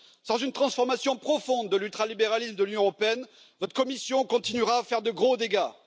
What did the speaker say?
Sans une transformation profonde de l'ultralibéralisme de l'Union européenne, votre Commission continuera à faire de gros dégâts.